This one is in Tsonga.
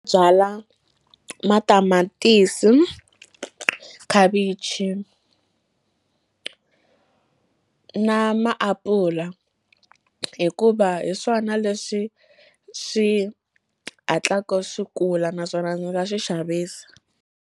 Byala matamatisi khavichi na maapula hikuva hi swona leswi swi hatlaka swi kula naswona ndzi nga swi xavisa.